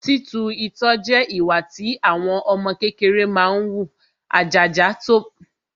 Títu itọ́ jẹ ìwà tí ọmọ kékeré máa ń wù, àjàjà tó bá fẹ́ wu eyín